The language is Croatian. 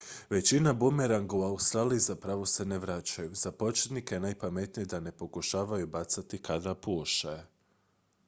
većina bumeranga u australiji zapravo se ne vraćaju za početnike je najpametnije da ne pokušavaju bacati kada puše